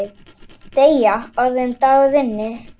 Deyja, áður en dagur rynni.